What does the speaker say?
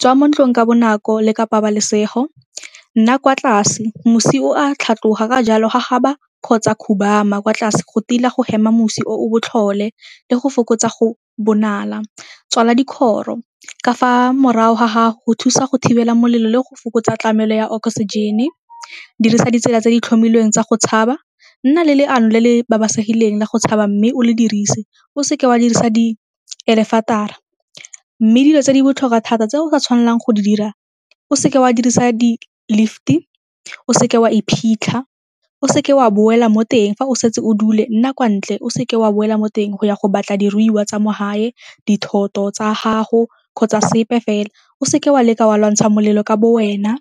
swa mo ntlong ka bonako le ka pabalesego, nna kwa tlase, mosi o a tlhatloga ka jalo gagaba kgotsa khubama kwa tlase go tila go hema mosi o botlhole le go fokotsa go bonala, tswala dikgoro ka fa morago ga gago go thusa go thibela molelo le go fokotsa tlamelo ya oxygen-e, dirisa ditsela tse di tlhomilweng tsa go tshaba, nna le leano le le la go tshaba mme o le dirise, o seke wa dirisa di . Mme dilo tse di botlhokwa thata tse o sa tshwanelang go di dira, o seke wa dirisa di-lift-e, o seke wa iphitlha, seke wa boela mo teng fa o setse o dule nna kwa ntle, o seke wa boela mo teng go ya go batla diruiwa tsa mo gae, dithoto tsa gago kgotsa sepe fela, o seke wa leka wa lwantsha molelo ka bo wena.